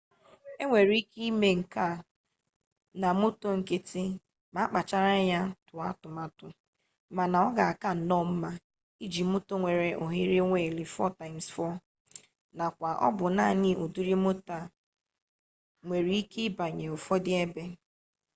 enwere ike ime nke a na moto nkịtị ma a kpachara anya tụọ atụmatụ mana ọ ga-aka nnọọ mma iji moto nwere ohere wiili 4x4 nakwa ọ bụ naanị ụdịrị moto a nwere ike ịbanye ụfọdụ ebe